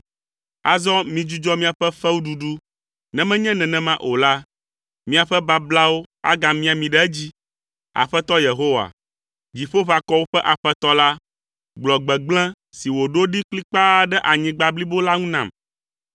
Azɔ midzudzɔ miaƒe fewuɖuɖu ne menye nenem o la, miaƒe bablawo agamia mi ɖe edzi. Aƒetɔ Yehowa, Dziƒoʋakɔwo ƒe Aƒetɔ la, gblɔ gbegblẽ si wòɖo ɖi kplikpaa ɖe anyigba blibo la ŋu nam.